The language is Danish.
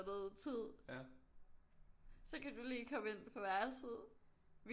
Tid så kan du lige komme ind på værelset